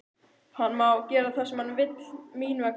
Hann má gera það sem hann vill mín vegna.